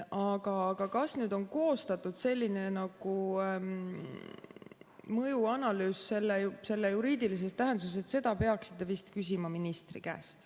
Aga kas nüüd on koostatud selline mõjuanalüüs juriidilises tähenduses, seda peaksite vist küsima ministri käest.